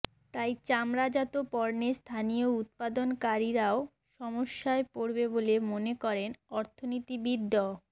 তাই চামড়াজাত পণ্যের স্থানীয় উৎপাদনকারীরাও সমস্যায় পড়বে বলে মনে করেন অর্থনীতিবিদ ড